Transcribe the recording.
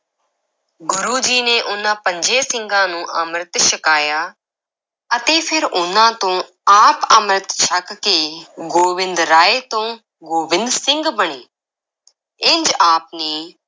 ਗੁਰੂ ਜੀ ਨੇ ਉਨ੍ਹਾਂ ਪੰਜੇ ਸਿੰਘਾਂ ਨੂੰ ਅੰਮ੍ਰਿਤ ਛਕਾਇਆ ਅਤੇ ਫਿਰ ਉਨ੍ਹਾਂ ਤੋਂ ਆਪ ਅੰਮ੍ਰਿਤ ਛਕ ਕੇ ਗੋਬਿੰਦ ਰਾਏ ਤੋਂ ਗੋਬਿੰਦ ਸਿੰਘ ਬਣੇ ਇੰਜ ਆਪ ਨੇ